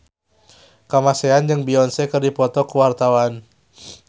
Kamasean jeung Beyonce keur dipoto ku wartawan